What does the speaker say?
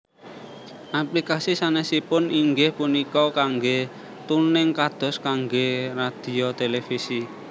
Aplikasi sanesipun inggih punika kangge tuning kados kangge radhio televisi